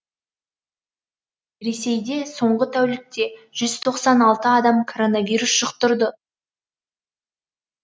ресейде соңғы тәулікте жүз тоқсан алты адам коронавирус жұқтырды